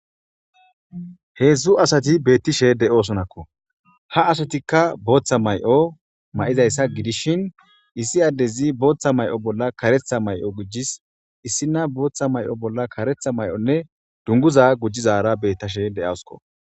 heedzdzu asati beettishe de7oosonakko ha asatikka booththa may7o ma7izayssa gidishshin issi addezi booththa may7o bolla karetha may7o gujis issi na booththa may7o bolla karetha may7onne dunguza gujizara beettashe de7asko